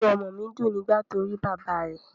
Inú ọmọ mi dùn nígbà tí ó rí bàbá rẹ̀